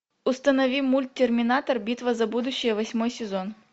установи мульт терминатор битва за будущее восьмой сезон